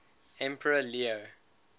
emperor leo